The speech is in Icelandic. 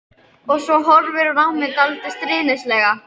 Og svo horfir hún á mig dálítið stríðnislega.